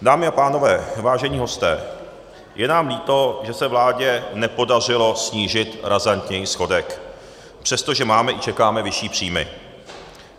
Dámy a pánové, vážení hosté, je nám líto, že se vládě nepodařilo snížit razantněji schodek, přestože máme i čekáme vyšší příjmy.